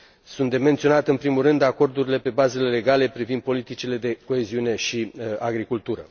Sunt de menționat, în primul rând, acordurile pe bazele legale privind politicile de coeziune și agricultură.